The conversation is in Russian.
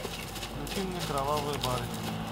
включи мне кровавая барыня